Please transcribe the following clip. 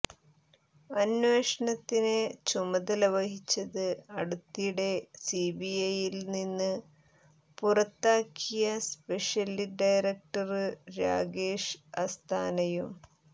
അന്വേഷണത്തിന് ചുമതല വഹിച്ചത് അടുത്തിടെ സിബിഐയില്നിന്ന് പുറത്താക്കിയ സ്പെഷ്യല് ഡയറടക്ടര് രാകേഷ് അസ്താനയും